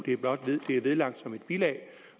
det er vedlagt som et bilag